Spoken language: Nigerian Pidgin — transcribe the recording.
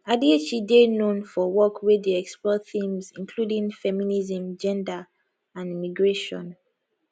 adichie dey known for work wey dey explore themes including feminism gender and immigration